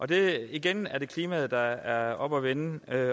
det er igen klimaet der er oppe at vende